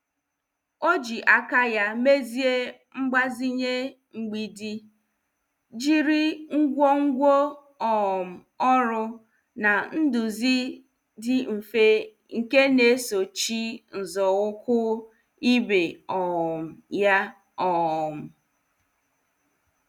Ọ ji aka ya mezie mgbazinye mgbidi, jiri ngwongwo um ọrụ na nduzi dị mfe nke na- esochi nzọụkwụ ibe um ya. um